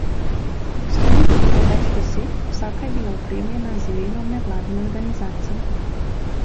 Stojnic je bilo več deset, vsaka je bila opremljena z imenom nevladne organizacije.